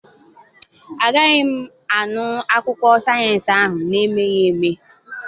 Agaghị m anụ akụkọ sayensị ahụ na-emeghị eme.